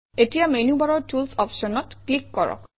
এতিয়া মেনুবাৰৰ টুলছ অপশ্যনত ক্লিক কৰক